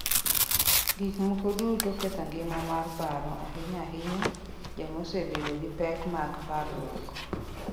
Gik moko duto ketho ngima mar paro, ahinya-ahinya joma osebedo gi pek mag parruok.